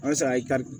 An sara i ka